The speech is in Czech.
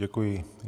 Děkuji.